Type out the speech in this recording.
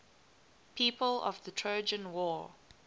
people of the trojan war